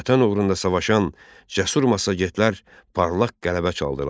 Vətən uğrunda savaşan cəsur massagetlər parlaq qələbə çaldılar.